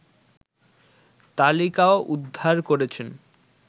তালিকাও উদ্ধার করেছেন